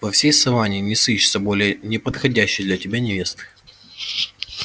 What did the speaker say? во всей саванне не сыщется более неподходящей для тебя невесты